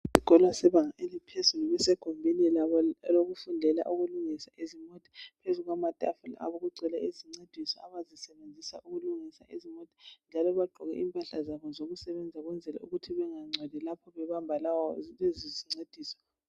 isikolo sebanga eliphezulu besegumbini labo lokufundela ukulungisa izimota phezu kwamatafula lapha kugcwele izincediso abazisebenzisa ukulungisa izimota njalo bagqoke impahla zabo zokusebenza ukuthi bengancoli lapho bebamba lezi zincediso